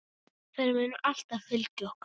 Þær munu alltaf fylgja okkur.